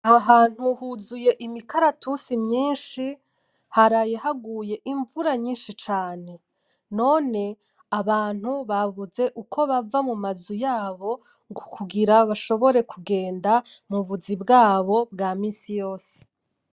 Aho hantu huzuye imikaratusi myinshi, haraye haguye imvura nyinshi cane. None abantu babuze uko bava mu mazu yabo kugira bashobora kugenda mu buzi bwabo bwa misi yose.